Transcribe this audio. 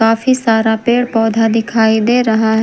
काफी सारा पेड़ पौधा दिखाई दे रहा है।